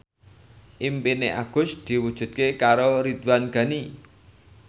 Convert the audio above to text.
impine Agus diwujudke karo Ridwan Ghani